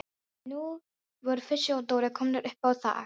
En nú voru Fúsi og Dóri komnir upp á þak.